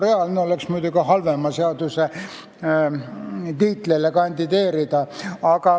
Reaalne oleks tal muidugi kõige halvema seaduse tiitlile kandideerida.